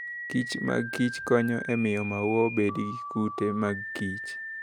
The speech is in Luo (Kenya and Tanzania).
kich mag kich konyo e miyo maua obed gi kute mag kich.